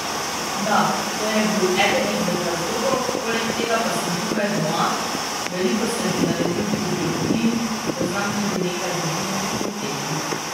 Da, to je bil eden izmed razlogov, poleg tega pa sem tukaj doma, veliko sem že naredil pri biologiji, poznam tudi nekaj ljudi na fakulteti.